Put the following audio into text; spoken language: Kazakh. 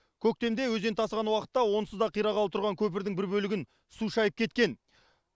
көктемде өзен тасыған уақытта онсыз да қирағалы тұрған көпірдің бір бөлігін су шайып кеткен